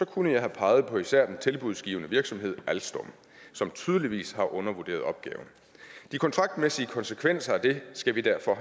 kunne jeg have peget på især den tilbudsgivende virksomhed alstom som tydeligvis har undervurderet opgaven de kontraktmæssige konsekvenser af det skal vi derfor